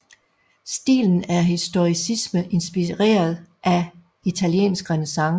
Stilen er historicisme inspireret af italiensk renæssance